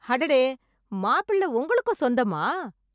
அடடே, மாப்பிள்ளை உங்களுக்கும் சொந்தமா!